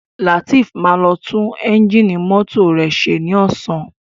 Latif má lo tun Ẹ́ńjìnì mọ́tò rẹ ṣe ní Ọ̀sán